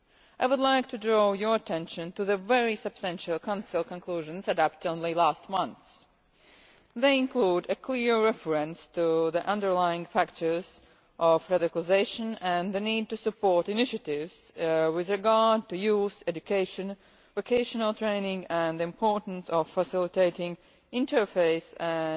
I would like to draw your attention to the very substantial Council conclusions adopted only last month, which include a clear reference to the underlying factors of radicalisation and the need to support initiatives in the areas of youth provision, education and vocational training, as well as the importance of facilitating interface and